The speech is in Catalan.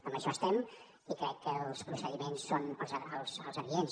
en això estem i crec que els procediments són els adients